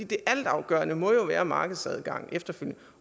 det altafgørende må jo være markedsadgang efterfølgende